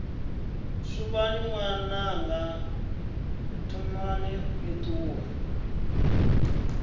suvhani ṅwananga thomani ni ṱuwe